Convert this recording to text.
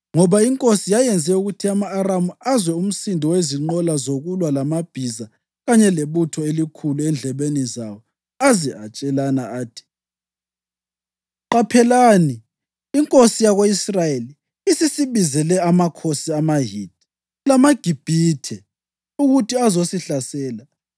ngoba iNkosi yayenze ukuthi ama-Aramu azwe umsindo wezinqola zokulwa lamabhiza kanye lebutho elikhulu endlebeni zawo, aze atshelana athi, “Qaphelani, inkosi yako-Israyeli isisibizele amakhosi amaHithi lamaGibhithe ukuthi azosihlasela!”